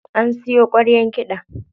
An siyo ƙwaryar kiɗan.